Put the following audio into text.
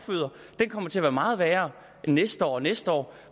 det kommer til at blive meget værre næste år og næste år